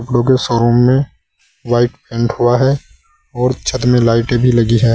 क्योंकि शोरूम में white paint हुआ है और छत में लाइटें भी लगी है।